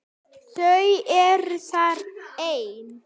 Þau eru þar ein.